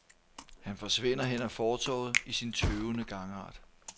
Han forsvinder hen ad fortovet i sin tøvende gangart.